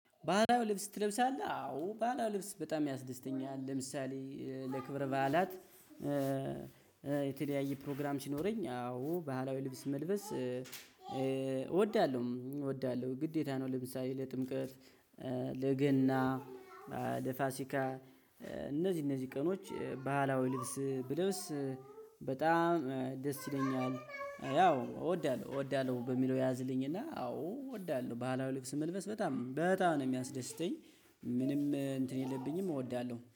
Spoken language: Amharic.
ባህላዊ ልብስ ትለብሳለህ? አዎ ባህላዊ ልብስ በጣም ያስደስተኛል ለምሳሌ ለክብረ ባህላት ፕሮግራም ሲኖረኝ አዎ ባህላዊ ልብስ መልበስ እወዳለሁ እወዳለሁ ግዴታ ነው። ለምሳሌ ለጥምቀት ለገና ለፋሲካ እነዚህ እነዚህ ቀኖች ባህላዊ ልብስ ብለብስ በጣም ደስ ይለኛል። ያው እወዳለሁ እወዳለሁ በሚለው ያዝልኝና አዎ እወዳለሁ ባህላዊ ልብስ መልበስ በጣም በጣም ነው የሚያስደስተኝ። ምንም እንትን የለብኝም እወዳለሁ